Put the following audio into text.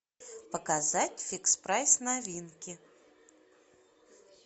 показать фикс прайс новинки